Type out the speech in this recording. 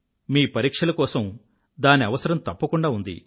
మీ పరీక్షల కోసం దాని అవసరం తప్పకుండా ఉంది